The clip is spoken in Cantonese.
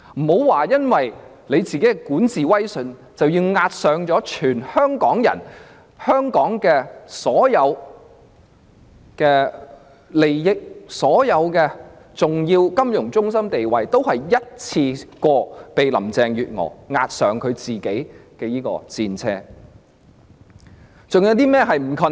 她不應為了自己的管治威信而押上全香港的人、香港的所有利益、重要的金融中心地位，但如今這些都被林鄭月娥一次過押上她的戰車。